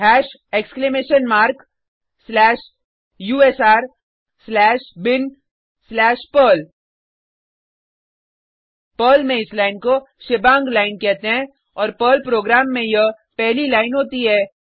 हाश exclamation mark slash USR slash bin slash Perl Perl में इस line को shebang line कहते हैं और पर्ल प्रोग्राम में यह पहली लाइन होती है